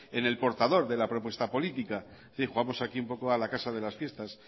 en el portador de la propuesta política es decir jugamos aquí un poco a la casa de las fiestas